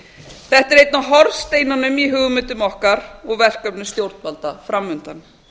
þetta er einn af hornsteinunum í hugmyndum okkar og verkefnum stjórnvalda fram undan